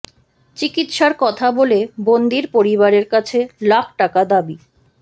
চিকিৎসার কথা বলে বন্দির পরিবারের কাছে লাখ টাকা দাবি